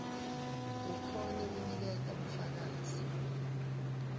ukhone kuniketa bufakazi